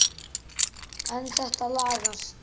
En þetta lagast.